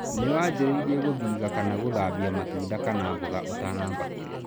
Nĩ wangĩrĩire gũthiga kana gũthambia matunda kana mboga ũtanamba kũrĩa.